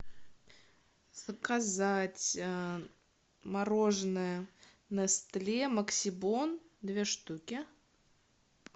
заказать мороженое нестле максибон две штуки